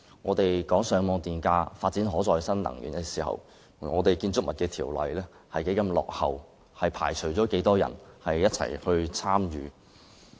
我們討論推動上網電價、發展可再生能源的時候，香港的《建築物條例》仍然十分落後，以致缺乏市民參與。